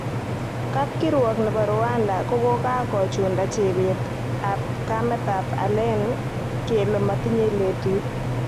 Kapkirwok nebo Rwanda kokakochunda chebet ak kametab alane kele motinye lelut.